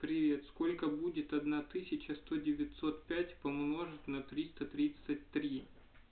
привет сколько будет одна тысяча сто девятьсот пять помножить на триста тридцать три